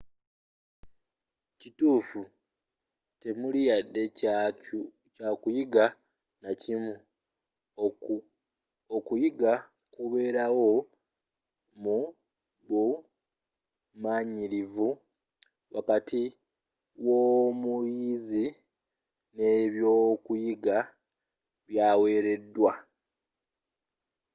ekituufu temuli wadde kyakuyiga nakimu okuyiga kubeerawo mu bumanyirivu wakati w'omuyizi ne byokuyiga byawereddwa